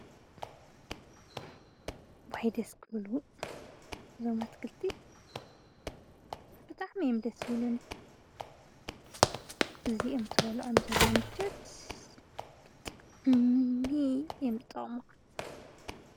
ዋይ ደስ ክብሉ እዞም አትክልቲ ብጣዕሚ እዮም ደስ ዝብሉኒ እዞም እንትበልዕ ዘሎ ምቾት ብጣዕሚሚሚ እዮም ዝጠቅሙ።